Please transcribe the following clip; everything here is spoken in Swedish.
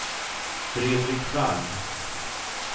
Fredrik Wall